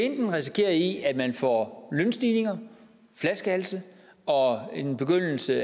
enten resultere i at vi får lønstigninger og flaskehalse og en begyndelse